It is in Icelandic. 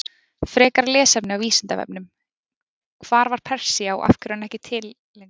Frekara lesefni á Vísindavefnum: Hvar var Persía og af hverju er hún ekki lengur til?